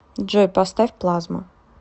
джой поставь плазма